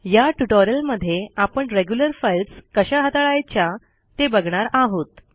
या ट्युटोरियलमध्ये आपण रेग्युलर फाइल्स कशा हाताळायच्या ते बघणार आहोत